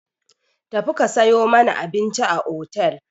Tafi ka sayo mana abinci a otel!